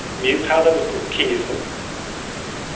менің тағы да бір кеңесім